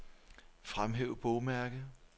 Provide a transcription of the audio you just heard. Fremhæv bogmærke.